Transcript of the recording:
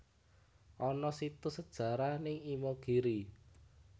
Ana situs sejarah ning Imogiri